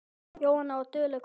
Jónína var dugleg kona.